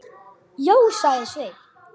Já, sagði Sveinn.